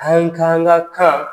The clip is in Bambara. An ka an ŋa kan